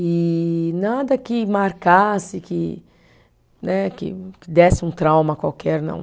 E nada que marcasse, que né, que desse um trauma qualquer, não.